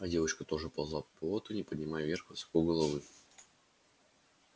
а девочка тоже ползла по болоту не поднимая вверх высоко головы